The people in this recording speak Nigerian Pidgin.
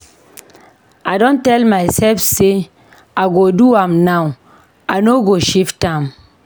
I don tell mysef sey I go do am now, I no go shift am.